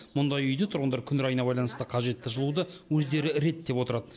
мұндай үйде тұрғындар күн райына байланысты қажетті жылуды өздері реттеп отырады